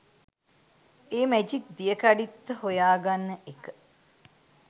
ඒ magic දියකඩිත්ත හොයාගන්න එක